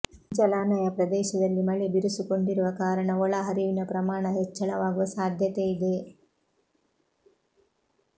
ಜಲಾನಯ ಪ್ರದೇಶದಲ್ಲಿ ಮಳೆ ಬಿರುಸುಗೊಂಡಿರುವ ಕಾರಣ ಒಳ ಹರಿವಿನ ಪ್ರಮಾಣ ಹೆಚ್ಚಳವಾಗುವ ಸಾಧ್ಯತೆ ಇದೆ